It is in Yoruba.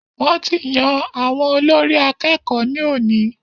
Wọ́n ti yan àwọn olórí àkẹ́kọ̀ọ ní òní.